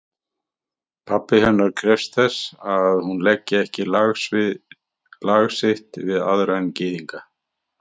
Pabbi hennar krefst þess, að hún leggi ekki lag sitt við aðra en gyðinga.